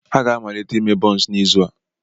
Ha ga-amalite ime bonsi n'izu a.